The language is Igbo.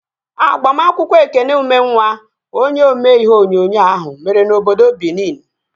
Agbamakwụkwọ Ekene Ụmenwa, onye omee ihe onyonyo ahụ, mere n'obodo Binin